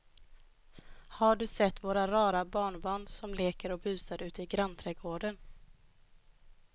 Har du sett våra rara barnbarn som leker och busar ute i grannträdgården!